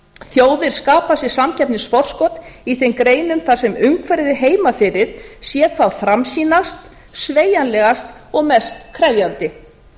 þjóðir skapa sér samkeppnisforskot í þeim greinum þar sem umhverfið heima fyrir sé þá framsýnast sveigjanlegast og mest krefjandi